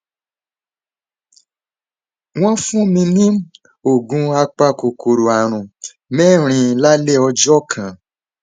wọn fún mi ní oògùn apakòkòrò ààrùn mẹrin lálẹ ọjọ kan